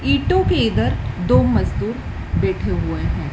ईटों के इधर दो मजदूर बैठे हुएं हैं।